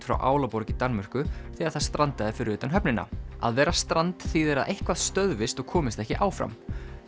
frá Álaborg í Danmörku þegar það strandaði fyrir utan höfnina að vera strand þýðir að eitthvað stöðvist og komist ekki áfram